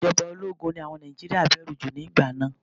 Ìjọba ológun ni àwọn Nàìjíríà bẹ̀rù jù nígbà náà.